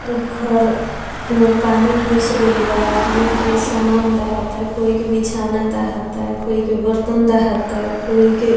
इ घर में पानी घुस गेल बा आदमी के सामान दहाता कोई के बिछौना दहाता कोई के बर्तन दहाता कोई के --